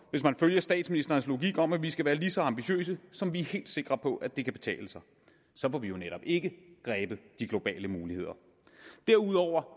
hvis man følger statsministerens logik om at vi skal være lige så ambitiøse som vi er helt sikre på at det kan betale sig så får vi jo netop ikke grebet de globale muligheder derudover